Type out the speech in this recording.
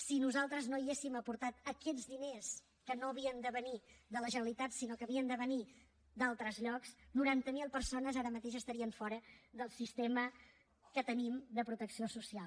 si nosaltres no hi haguéssim aportat aquests diners que no havien de venir de la generalitat sinó que havien de venir d’altres llocs noranta mil persones ara mateix estarien fora del sistema que tenim de protecció social